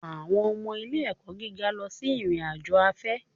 Àwọn ọmọ ilé-ẹ̀kọ́ gíga lọ sí ìrìn-àjò afẹ́